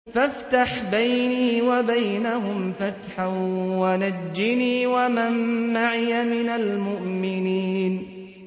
فَافْتَحْ بَيْنِي وَبَيْنَهُمْ فَتْحًا وَنَجِّنِي وَمَن مَّعِيَ مِنَ الْمُؤْمِنِينَ